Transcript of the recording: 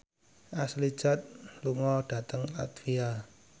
Ashley Judd lunga dhateng latvia